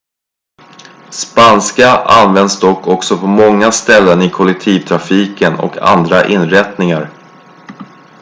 spanska används dock också på många ställen i kollektivtrafiken och andra inrättningar